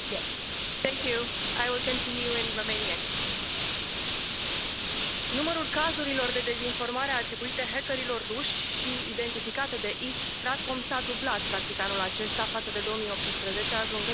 Doamna Președintă, numărul cazurilor de dezinformare atribuite hackerilor ruși și identificate de East StratCom s a dublat practic anul acesta față de 2018, ajungând la